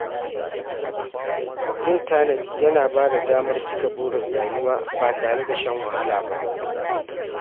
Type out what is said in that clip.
Yin tanadi yana bada damar cika burin rayuwa ba tare da shan wahala ba.